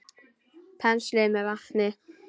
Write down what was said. Penslið með vatni.